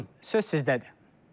Buyurun, söz sizdədir.